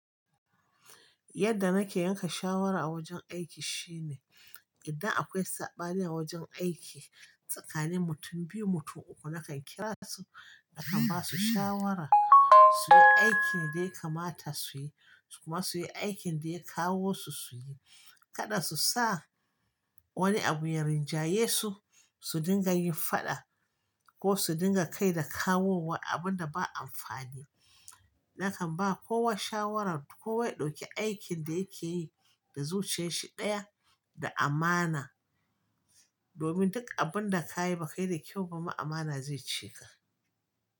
Yadda nake yanke shawara a wajen aiki shine, idan akwai saɓani a wajen aiki tsakanin mutum biyu mutum uku nakan kira su nakan ba su shawara suyi aikin da ya kamata suyi su kuma suyi aikin da ya kawo su suyi. Kada su sa wani abu ya rinjaye su, su dinga yin faɗa ko su dinga kai da kawowa abun da ba amfani. Nakan ba kowa shawaran kowa ya dauki aikin da yakeyi da zuciyarshi daya da amana. Domin duk abun da kayi ba kai da kyau ba ma amana zai cika.